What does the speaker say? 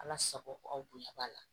Ala sago aw bonya b'a la